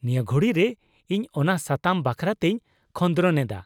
-ᱱᱤᱭᱟᱹ ᱜᱷᱩᱲᱤᱨᱮ ᱤᱧ ᱚᱱᱟ ᱥᱟᱛᱟᱢ ᱵᱟᱠᱷᱨᱟᱛᱮᱧ ᱠᱷᱚᱸᱫᱨᱚᱱᱮᱫᱟ ᱾